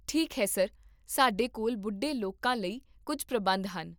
ਠੀਕ ਹੈ, ਸਰ, ਸਾਡੇ ਕੋਲ ਬੁੱਢੇ ਲੋਕਾਂ ਲਈ ਕੁੱਝ ਪ੍ਰਬੰਧ ਹਨ